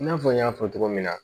I n'a fɔ n y'a fɔ cogo min na